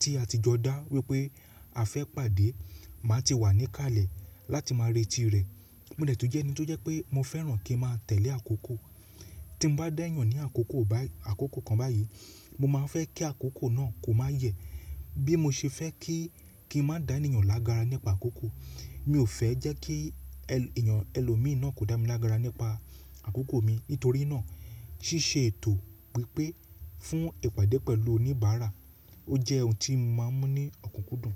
tí a ti jọ dá wípé a fẹ́ pàdé, màá ti wà níkàlẹ̀ láti máa retí rẹ̀. Mo dẹ̀ tún jẹ́ ẹni tó jẹ́ pé mo fẹ́ràn kí a máa tẹ̀lé àkókò. Tí mo bá da yàn ní àkókò bái àkókò kan báyìí, mo máa fẹ́ kí àkókò náà kó má yẹ̀ bí mo ṣe fẹ́ kí, kí n má dá ènìyàn lágara nípa àkókò. Mi ò fẹ́ jẹ́ kí ènìyàn ẹlòmíì náà kó dá mi lágara nípa àkókò mi. Nítorí náà ṣíṣe ètò wípé fún ìpàdé pẹ̀lú oníbàárà, ó jẹ́ ohun tí mo máa ń mú ní ọ̀kúnkúndùn.